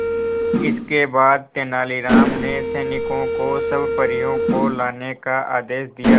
इसके बाद तेलानी राम ने सैनिकों को सब परियों को लाने का आदेश दिया